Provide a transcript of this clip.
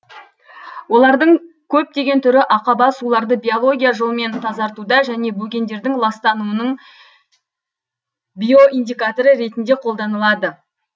олардың көптеген түрі ақаба суларды биология жолмен тазартуда және бөгендердің ластануының биоиндикаторы ретінде қолданылады